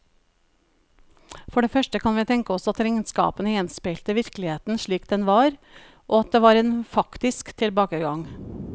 For det første kan vi tenke oss at regnskapene gjenspeilte virkeligheten slik den var, og at det var en faktisk tilbakegang.